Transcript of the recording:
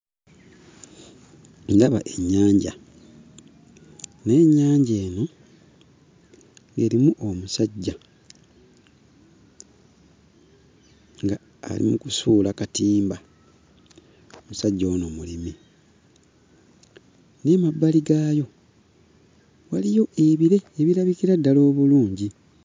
Ndaba ennyanja naye ennyanja eno erimu omusajja ng'ali mu kusuula katimba. Omusajja ono mulimi naye emabbali gaayo waliyo ebire ebirabikira ddala obulungi.